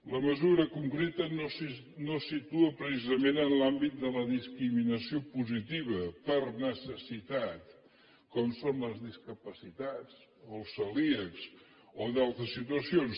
la mesura concreta no se situa precisament en l’àmbit de la discriminació positiva per necessitat com són les discapacitats o els celíacs o d’altres situacions